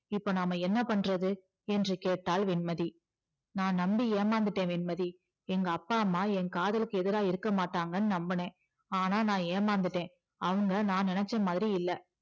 இப்போ நாம என்ன பண்றது என்று கேட்டாள் வெண்மதி நான் நம்பி ஏமாந்துட்டேன் வெண்மதி எங்க அப்பா அம்மா என் காதலுக்கு எதிரா இருக்க மாட்டங்கன்னு நம்பினேன் ஆனா நான் ஏமாந்துட்டேன் அவங்க நான் நினைச்ச மாதிரி இல்ல